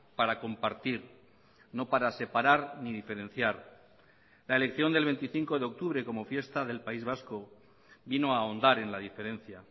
para compartir no para separar ni diferenciar la elección del veinticinco de octubre como fiesta del país vasco vino a ahondar en la diferencia